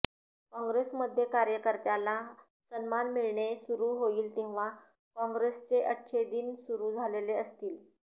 काँग्रेसमध्ये कार्यकर्त्यांला सन्मान मिळणे सुरू होईल तेव्हा काँग्रेसचे अच्छे दिन सुरू झालेले असतील